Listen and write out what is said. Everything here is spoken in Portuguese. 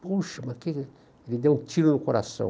Puxa, mas ele, ele deu um tiro no coração.